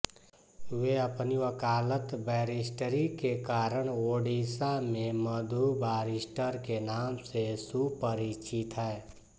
वे अपनी वकालत बैरिष्टरी के कारण ओड़िसा में मधु बारिष्टर के नाम से सुपरिचित हैं